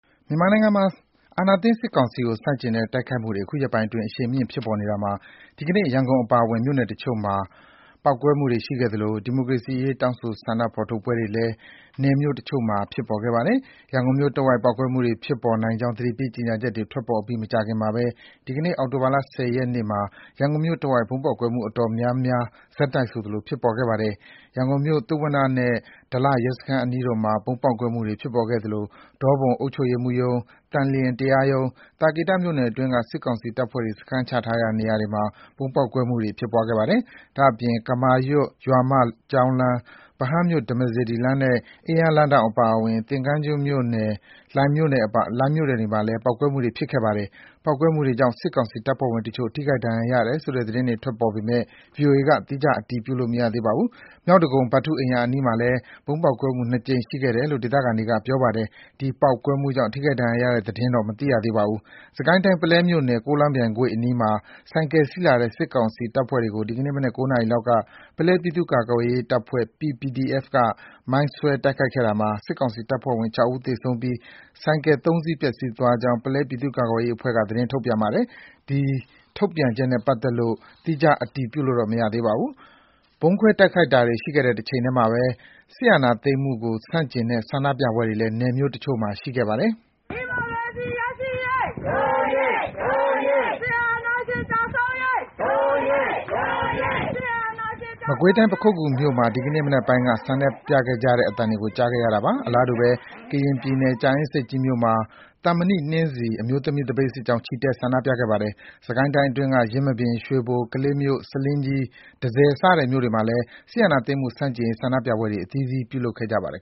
မြန်မာနိုင်ငံမှာ အာဏာသိမ်းစစ်ကောင်စီကို ဆန့်ကျင်တဲ့ တိုက်ခိုက်မှုတွေ အခုရက်ပိုင်းအတွင်း အရှိန်မြင့် ဖြစ်ပေါ်နေတာမှာ ဒီကနေ့ ရန်ကုန်အပါအဝင် နယ်မြို့တချို့မှာ ဗုံးပေါက်ကွဲမှုတွေ ရှိခဲ့သလို ဒီမိုကရေစီအရေး တောင်းဆို ဆန္ဒဖော်ထုတ်ပွဲတွေလည်း မြို့နယ်တချို့မှာ ဖြစ်ပေါ်ခဲ့ပါတယ်။ ရန်ကုန်မြို့တဝိုက် ပေါက်ကွဲမှုတွေ ဖြစ်ပေါ်နိုင်ကြောင်း သတိပေးကြေညာချက်တွေ ထွက်ပေါ်ပြီး မကြာခင်မှာပဲ ဒီကနေ့ အောက်တိုဘာလ ၁၀ ရက်နေ့မှာ ရန်ကုန်မြို့တဝိုက် ဗုံးပေါက်ကွဲမှု အတော်များများ ဆက်တိုက်ဆိုသလို ဖြစ်ပေါ်ခဲ့ပါတယ်။ ရန်ကုန်မြို့၊ သုဝဏ္ဏနဲ့ ဒလရဲစခန်းအနီးတို့မှာ ဗုံးပေါက်ကွဲမှုတွေ ဖြစ်ပေါ်ခဲ့သလို ဒေါပုံအုပ်ချုပ်ရေးမှူးရုံး၊ သန်လျင်တရားရုံး၊ သာကေတမြို့နယ်အတွင်းက စစ်ကောင်စီတပ်ဖွဲ့ စခန်းချရာ နေရာတွေမှာလည်း ဗုံးပေါက်ကွဲမှုတွေ ဖြစ်ခဲ့ပါတယ်။ ဒါ့အပြင် ကမာရွတ် ရွာမကျောင်းလမ်း၊ ဗဟန်းမြို့ ဓမ္မစေတီလမ်းနဲ့ အင်းယားလမ်းထောင့် အပါအဝင် သင်္ဃန်းကျွန်းနဲ့ လှိုင်မြို့နယ်တွေမှာလည်း ပေါက်ကွဲမှုတွေ ဖြစ်ခဲ့ပါတယ်။ ပေါက်ကွဲမှုတွေကြောင့် စစ်ကောင်စီတပ်ဖွဲ့ဝင်တချို့ ထိခိုက်ဒဏ်ရာရတယ်ဆိုတဲ့ သတင်းတွေ ထွက်ပေါ်နေပေမယ့် ဗွီအိုအေက သီးခြား အတည်ပြုလို့ မရသေးပါဘူး။ မြောက်ဒဂုံ ဗထူးအိမ်ရာ အနီးမှာလည်း ဗုံးပေါက်ကွဲမှုနှစ်ကြိမ် ရှိခဲ့တယ်လို့ ဒေသခံတွေက ပြောပါတယ်။ ဒီပေါက်ကွဲမှုတွေကြောင့် ထိခိုက်ဒဏ်ရာရတဲ့ သတင်းတော့ မသိရသေးပါဘူး။ စစ်ကိုင်းတိုင်း၊ ပုလဲမြို့နယ်၊ ကိုးလောင်းပြိုင်ကွေ့အနီးမှာ ဆိုင်ကယ်စီးလာတဲ့ စစ်ကောင်စီတပ်ဖွဲ့တွေကို ဒီကနေ့မနက် ၉ နာရီလောက်က ပုလဲပြည်သူ့ကာကွယ်ရေးတပ်ဖွဲ့ (PPDF) က မိုင်းဆွဲတိုက်ခိုက်ခဲ့တာမှာ စစ်ကောင်စီတပ်ဖွဲ့ဝင် ၆ ဦးသေဆုံးပြီး ဆိုင်ကယ် ၃ စီး ပျက်ဆီးသွားကြောင်း ပုလဲပြည်သူ့ကာကွယ်ရေးအဖွဲ့က သတင်းထုတ်ပြန်ပါတယ်။ ဒီထုတ်ပြန်ချက်နဲ့ ပတ်သက်လို့ သီးခြားအတည်ပြုလို့ မရသေးပါဘူး။ ဗုံးခွဲတိုက်ခိုက်တာတွေ ရှိခဲ့တဲ့ တချိန်တည်းမှာပဲ စစ်အာဏာသိမ်းမှုကို ဆန့်ကျင်တဲ့ ဆန္ဒပြပွဲတွေလည်း မြို့နယ်တချို့မှာ ဆက်ရှိနေဆဲပါ။ မကွေးတိုင်း၊ ပခုက္ကူမြို့မှာ ဒီကနေ့မနက်ပိုင်းက ဆန္ဒပြခဲ့ကြသလို အလားတူပဲ ကရင်ပြည်နယ်၊ ကြာအင်းဆိပ်ကြီးမြို့မှာ “သံမဏိနှင်းဆီ” အမျိုးသမီး သပိတ်စစ်ကြောင်း ချီတက်ဆန္ဒပြခဲ့ပါတယ်။ စစ်ကိုင်းတိုင်းအတွင်းက ယင်းမာပင်၊ ရွှေဘို၊ ကလေးမြို့၊ ဆားလင်းကြီး၊ တန့်ဆည် စတဲ့ မြို့နယ်တွေမှာလည်း စစ်အာဏာသိမ်းမှု ဆန့်ကျင်ရေး ဆန္ဒပြပွဲတွေ အသီးသီး ပြုလုပ်ခဲ့ကြပါတယ်